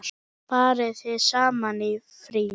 Farið þið saman í frí?